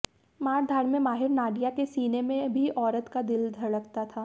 मारधाड़ में माहिर नाडिया के सीने में भी औरत का दिल धड़कता था